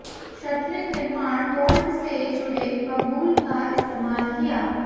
shuttering निर्माण bolt से जुड़े बबूल का इस्तेमाल किया